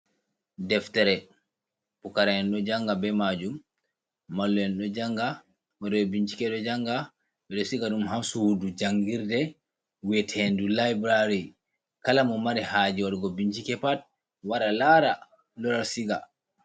Deftere pukara'en ɗo janga be majum mallu en ɗo janga waɗoɓe bincike ɗo janga, ɓeɗo siga dum ha sudu jangirde we'atedum liberary kala mo mari haje wadugo bincike pat wara lara lora siga.